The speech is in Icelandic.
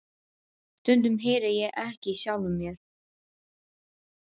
Stundum heyri ég ekki í sjálfum mér.